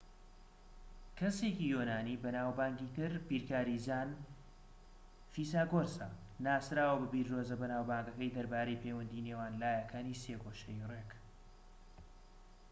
کەسێکی یۆنانیی بەناوبانگی تر بیرکاریزان فیساگۆرسە ناسراوە بە بیردۆزە بەناوبانگەکەی دەربارەی پەیوەندی نێوان لایەکانی سێگۆشەی ڕێك